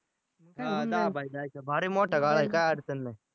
भारी मोठा गाळा आहे काय अडचण नाही.